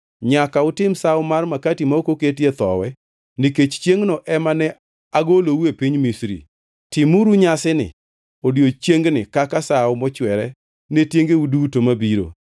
“Nyaka utim Sawo mar makati ma ok oketie thowi, nikech chiengʼno ema ne agoloue piny Misri. Timuru nyasini odiechiengni kaka sawo mochwere ne tiengeu duto mabiro.